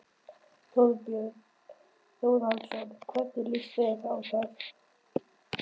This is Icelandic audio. Þorbjörn Þórðarson: Hvernig líst þér á það?